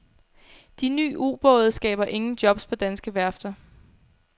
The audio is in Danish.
De nye ubåde skaber ingen jobs på danske værfter.